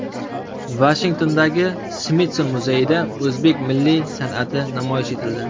Vashingtondagi Smitson muzeyida o‘zbek milliy san’ati namoyish etildi.